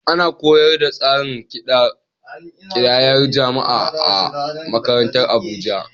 Ana koyar da tsarin ƙidayar jama’a a makarantu a Abuja.